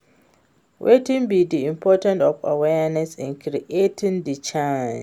Wetin be di importance of awareness in creating di change?